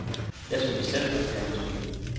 Jeg synes selv, at det er naturligt.